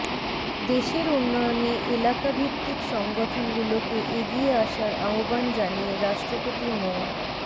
দেশের উন্নয়নে এলাকাভিত্তিক সংগঠনগুলোকে এগিয়ে আসার আহ্বান জানিয়ে রাষ্ট্রপতি মো